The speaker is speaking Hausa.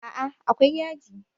Aa, akwai yaji